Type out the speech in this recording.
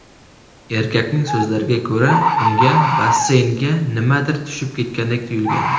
Erkakning so‘zlariga ko‘ra, unga basseynga nimadir tushib ketgandek tuyulgan.